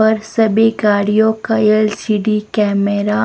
और सभी गाड़िया का एल_सी_डी कैमेरा --